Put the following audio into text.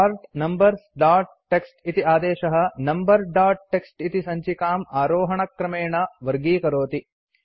sort numbers dot TXT इति आदेशः number dot TXT इति सञ्चिकाम् आरोहणक्रमेण वर्गीकरोति